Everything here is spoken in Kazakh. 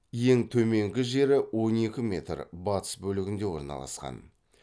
ең төменгі жері батыс бөлігінде орналасқан